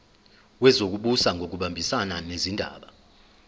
wezokubusa ngokubambisana nezindaba